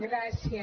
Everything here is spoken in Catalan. gràcies